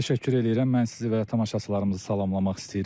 Təşəkkür eləyirəm, mən sizi və tamaşaçılarımızı salamlamaq istəyirəm.